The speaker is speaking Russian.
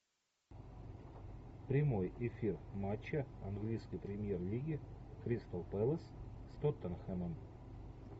прямой эфир матча английской премьер лиги кристал пэлас с тоттенхэмом